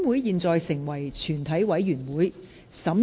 現在成為全體委員會。